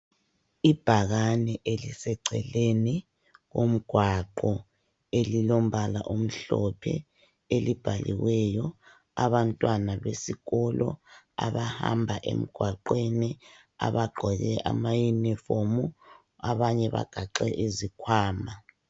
Ibhakane eliseceleni komgwaqo elilombala omhlophe elibhaliweyo abantwana besikolo abahamba emgwaqweni abagqoke amayunifomu abanye bagaxhe izikhwama.